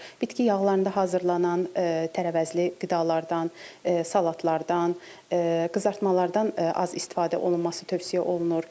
Bitki yağlarında hazırlanan tərəvəzli qidalardan, salatlardan, qızartmalardan az istifadə olunması tövsiyə olunur.